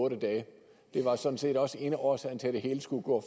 otte dage det var sådan set også en af årsagerne til at det hele skulle gå